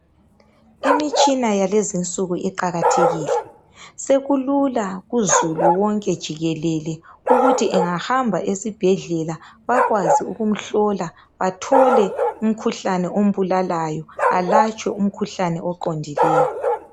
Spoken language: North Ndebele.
Imitshina yakulezinsuku iqakathekile, sekulula kuzulu wonke jikelele ukuthi engahamba esibhedlela bakwazi ukumhlola bathole umkhuhlane ombulalayo balatshwe umkhuhlane oqondileyo.